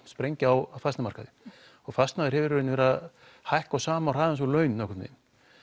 sprengja á fasteignamarkaði og fasteignir hafa verið að hækka á sama hraða og laun nokkurn veginn